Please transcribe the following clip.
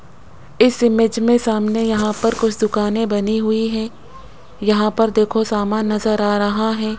इस इमेज में सामने यहां पर कुछ दुकानें बनी हुई हैं यहां पर देखो सामान नजर आ रहा है।